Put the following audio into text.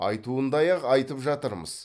айтуындай ақ айтып жатырмыз